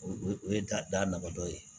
O o ye da naba dɔ ye